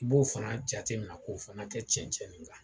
I b'o fana jatemina k'o fana kɛ cɛnɛn nin kan